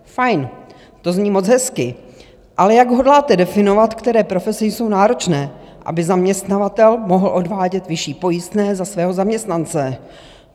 Fajn, to zní moc hezky, ale jak hodláte definovat, které profese jsou náročné, aby zaměstnavatel mohl odvádět vyšší pojistné za svého zaměstnance?